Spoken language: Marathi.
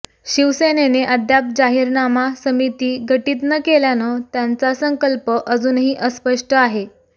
शिवसेनेने अद्याप जाहीरनामा समिती गटित न केल्यानं त्यांचा संकल्प अजूनही अस्पष्ट आहे